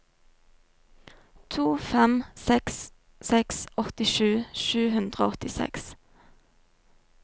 to fem seks seks åttisju sju hundre og åttiseks